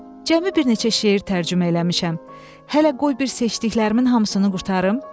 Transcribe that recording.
Cəmi bir neçə şeir tərcümə eləmişəm, hələ qoy bir seçdiklərimin hamısını qurtarım.